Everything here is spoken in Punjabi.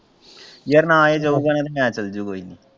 ਯਾਰ ਨਾ ਆਏਗਾ ਮੈਂ ਚੱਲਜੂ ਕੋਈ ਨਹੀਂ।